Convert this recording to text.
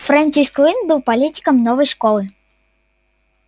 фрэнсис куинн был политиком новой школы